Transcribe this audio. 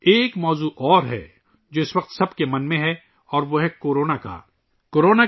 ایک اور موضوع ہے، جو اس وقت ہر کسی کے ذہن میں ہے اور وہ ہے کورونا کا موضوع